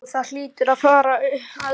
Jú það hlýtur að fara að stytta upp.